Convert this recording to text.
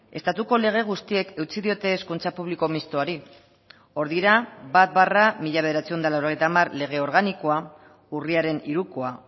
estatuko lege guztiek eutsi diote hezkuntza publiko mistoari hor dira bat barra mila bederatziehun eta laurogeita hamar lege organikoa urriaren hirukoa